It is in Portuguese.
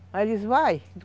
Aí eles , vai.